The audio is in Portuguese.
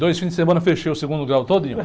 Dois fins de semana eu fechei o segundo grau todinho.